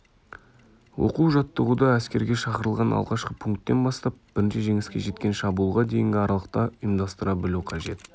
оқу-жаттығуды әскерге шақырылған алғашқы пункттен бастап бірінші жеңіске жеткен шабуылға дейінгі аралықта ұйымдастыра білу қажет